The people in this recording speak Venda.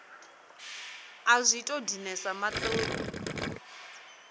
a zwi tou dinesa maṱoni